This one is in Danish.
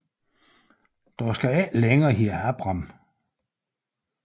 Du skal ikke længere hedde Abram